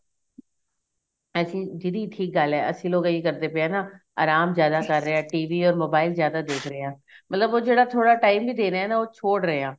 ਹਾਂਜੀ ਦੀਦੀ ਠੀਕ ਗੱਲ ਏ ਅਸੀਂ ਲੋਕ ਇਹ ਹੀ ਕਰਦੇ ਪਏ ਆ ਨਾ ਆਰਾਮ ਜਿਆਦਾ ਕਰ ਰਹੇ ਆ TV or mobile ਜਿਆਦਾ ਦੇਖ ਰਹੇ ਆ ਮਤਲਬ ਉਹ ਜਿਹੜਾ ਥੋੜਾ time ਵੀ ਦੇ ਰਹੇ ਆ ਨਾ ਉਹ ਛੋੜ ਰਹੇ ਆ